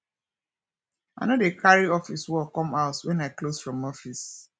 i no dey cari office work com house wen i close from office